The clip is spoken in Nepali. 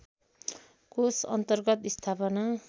कोष अन्तर्गत स्थापना